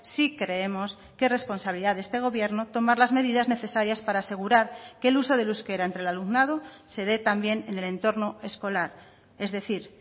sí creemos que responsabilidad de este gobierno tomar las medidas necesarias para asegurar que el uso del euskera entre el alumnado se dé también en el entorno escolar es decir